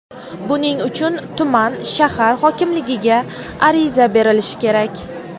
Buning uchun tuman (shahar) hokimligiga ariza berilishi kerak.